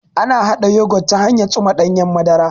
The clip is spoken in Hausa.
Ana haɗa Yogut ta hanyan tsuma ɗanyen madara